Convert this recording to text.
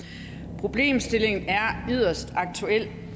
problemstillingen er yderst aktuel